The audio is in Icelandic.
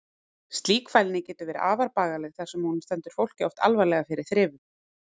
Slík fælni getur verið afar bagaleg þar sem hún stendur fólki oft alvarlega fyrir þrifum.